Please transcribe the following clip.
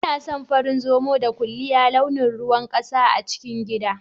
Inason farin Zomo da ƙuliya launin ruwan ƙasa a cikin gida.